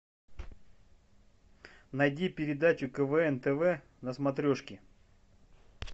найди передачу квн тв на смотрешке